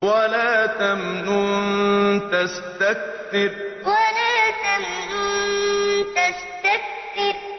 وَلَا تَمْنُن تَسْتَكْثِرُ وَلَا تَمْنُن تَسْتَكْثِرُ